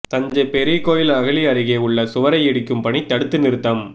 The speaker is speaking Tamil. தஞ்சை பெரிய கோயில் அகழி அருகே உள்ள சுவரை இடிக்கும் பணி தடுத்து நிறுத்தம்